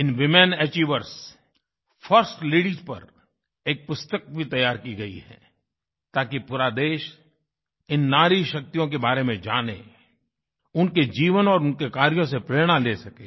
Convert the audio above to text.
इन women achievers first ladies पर एक पुस्तक भी तैयार की गयी है ताकि पूरा देश इन नारी शक्तियों के बारे में जाने उनके जीवन और उनके कार्यों से प्रेरणा ले सके